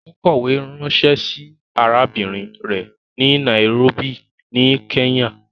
Ó kọ̀wę ránṣẹ́ sí arábìrin rẹ̀ ni Nairobi ní Kenya.